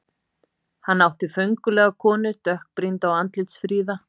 Hann átti föngulega konu, dökkbrýnda og andlitsfríða.